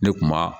Ne kuma